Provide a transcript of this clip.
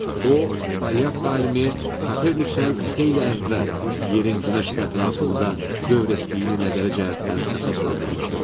O, polyak alimi Kopernikdən xeyli əvvəl yerin Günəş ətrafında dövr etdiyini nəzəri cəhətdən əsaslandırmışdır.